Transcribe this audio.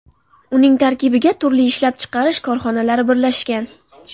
Uning tarkibiga turli ishlab chiqarish korxonalari birlashgan.